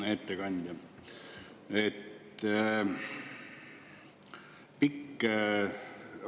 Hea ettekandja!